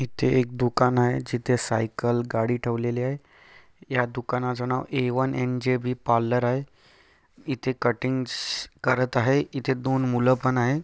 इथे एक दुकान आहे जिथे एक साईकल गाडी ठेवलेली आहे. या दुकानाच नाव A one N J B parlour आहे. इथे कटिंग्स करत आहे. इथे दोन मुलपण आहे.